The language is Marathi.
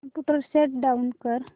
कम्प्युटर शट डाउन कर